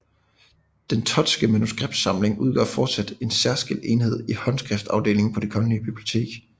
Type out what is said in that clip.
Den Thottske manuskriptsamling udgør fortsat en særskilt enhed i Håndskriftafdelingen på Det Kongelige Bibliotek